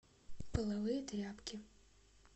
половые тряпки